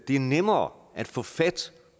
er nemmere at få fat